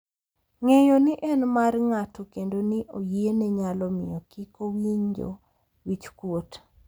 Ng’eyo ni en mar ng’ato kendo ni oyiene nyalo miyo kik owinjo wich kuot .